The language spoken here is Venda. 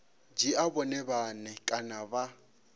dzhia vhone vhane kana vha